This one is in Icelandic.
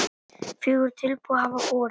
Fjögur tilboð hafa borist